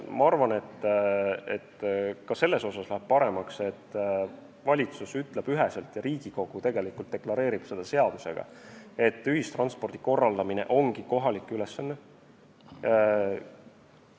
Ma arvan, et ka selles mõttes läheb paremaks, et valitsus ütleb üheselt ja Riigikogu deklareerib seadusega, et ühistranspordi korraldamine ongi kohalike omavalitsuste ülesanne.